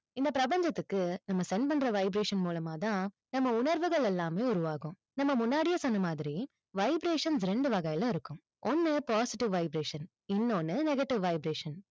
இந்த பிரபஞ்சத்துக்கு, நம்ம send பண்ற vibration மூலமா தான், நம்ம உணர்வுகள் எல்லாமே உருவாகும். நம்ம முன்னாடியே சொன்ன மாதிரி vibrations ரெண்டு வகைல இருக்கும். ஒண்ணு positive vibration இன்னொன்னு negative vibration